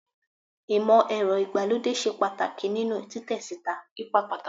Imọ-ẹrọ igbalode ṣe ipa pataki ninu titẹ sita